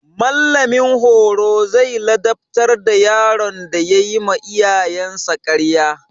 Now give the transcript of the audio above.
Mallamin horo zai ladabtar da yaron da yayi ma iyayensa ƙarya.